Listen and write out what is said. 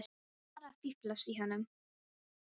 Ég var bara að fíflast í honum